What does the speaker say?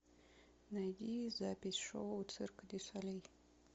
найди запись шоу цирка дю солей